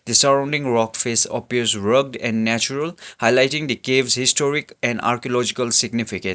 the surrounding rock face appear rocked and natural highlighting the caves historic and archaeological significa --